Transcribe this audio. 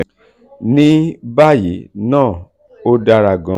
"ní báyìí ná ó dáa gan-an.